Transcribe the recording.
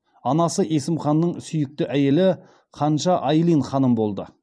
анасы есім ханның сүйікті әйелі ханша айлин ханым болды